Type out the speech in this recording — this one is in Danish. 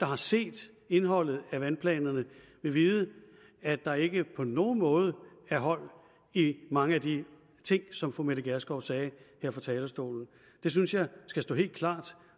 har set indholdet af vandplanerne vil vide at der ikke på nogen måde er hold i mange af de ting som fru mette gjerskov sagde her fra talerstolen det synes jeg skal stå helt klart